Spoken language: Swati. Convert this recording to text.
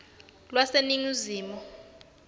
lwaseningizimu